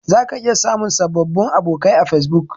Zaka iya samun sababbin abokai a Fesbuk.